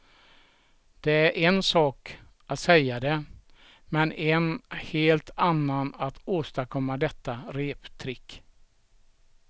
Det är en sak att säga det men en helt annan att åstadkomma detta reptrick.